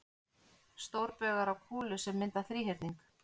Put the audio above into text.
Stórbaugar á kúlu sem mynda þríhyrning.